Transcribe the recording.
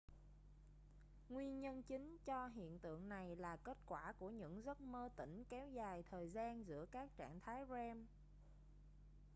nguyên nhân chính cho hiện tượng này là kết quả của những giấc mơ tỉnh kéo dài thời gian giữa các trạng thái rem